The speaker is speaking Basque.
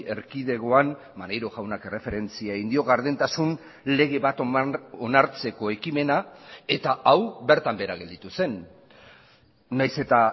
erkidegoan maneiro jaunak erreferentzia egin dio gardentasun lege bat onartzeko ekimena eta hau bertan behera gelditu zen nahiz eta